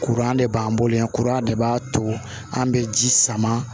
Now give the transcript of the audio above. Kuran de b'an bolo yan kuran de b'a to an be ji sama